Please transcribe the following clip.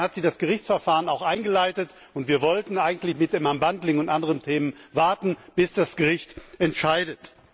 Und dann hat sie das Gerichtsverfahren eingeleitet, und wir wollten eigentlich mit dem und anderen Themen warten, bis das Gericht entscheidet.